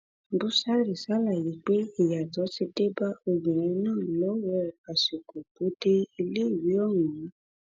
búṣárì ṣàlàyé pé ìyàtọ ti dé bá obìnrin náà lọwọ àsìkò tó dé iléèwé ọ̀hún